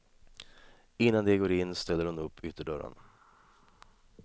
Innan de går in ställer hon upp ytterdörren.